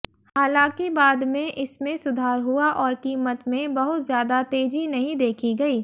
हालांकि बाद में इसमें सुधार हुआ और कीमत में बहुत ज्यादा तेजी नहीं देखी गई